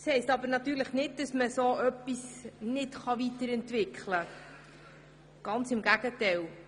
Das bedeutet natürlich nicht, dass man es nicht weiterentwickeln kann, ganz im Gegenteil.